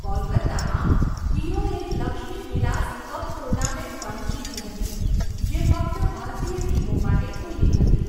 કોલકાતામાં, હીરોએ Lakshmibilas cup tournament પણ જીતી હતી, જે ફક્ત ભારતીય ટીમો માટે ખુલ્લી હતી.